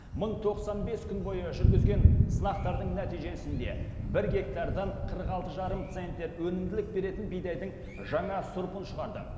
мың тоқсан бес күн бойы жүргізген сынақтардың нәтижесінде бір гектардан қырық алты жарым центнер өнімділік беретін бидайдың жаңа сұрпын шығарды